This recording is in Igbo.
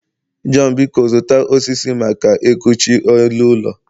Jonh, biko zụta osisi maka ekuchi elu ụlọ